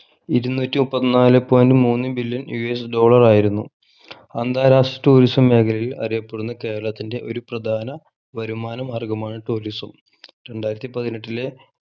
ഇരുന്നൂറ്റി മുപ്പത്തിനാലേ point മൂന്ന് billion US dollar ആയിരുന്നു അന്താരാഷ്ട്ര tourism മേഖലയിൽ അറിയപ്പെടുന്ന കേരളത്തിൻ്റെ ഒരു പ്രധാന വരുമാന മാർഗമാണ് tourism രണ്ടായിരത്തി പതിനെട്ടിലെ